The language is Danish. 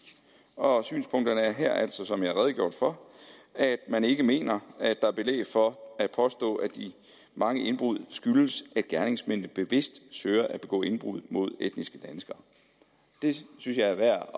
og synspunkterne er altså som jeg har redegjort for at man ikke mener at der er belæg for at påstå at de mange indbrud skyldes at gerningsmændene bevidst søger at begå indbrud mod etniske danskere det synes jeg er værd